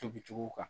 Tobicogo kan